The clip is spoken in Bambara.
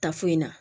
Ta foyi la